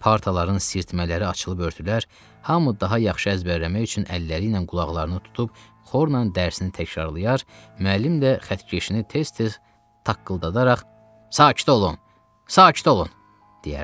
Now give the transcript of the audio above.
Partaların sirtmələri açılıb-örtülər, hamı daha yaxşı əzbərləmək üçün əlləri ilə qulaqlarını tutub xorla dərsini təkrarlayar, müəllim də xətkeşini tez-tez taqqıldadaraq, “Sakit olun! Sakit olun!” deyərdi.